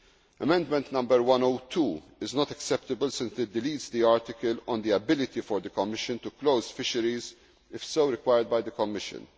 be accepted. Amendment 102 is not acceptable since it deletes the article on the ability for the Commission to close fisheries if so required by the